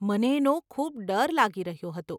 મને એનો ખૂબ ડર લાગી રહ્યો હતો.